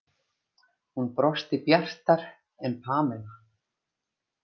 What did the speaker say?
Hún brosti bjartar en Pamela.